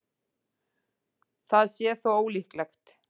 Það sé þó ólíklegt